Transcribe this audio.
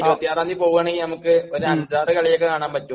പിന്നെ 26 ആം തീയതി പോകുവാണെങ്കിൽ നമുക്ക് ഒരു അഞ്ചാറു കളിയൊക്കെ കാണാൻ പറ്റും.